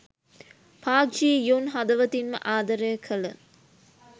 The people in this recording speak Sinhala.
පාක් ජී යුන් හදවතින්ම ආදරය කළ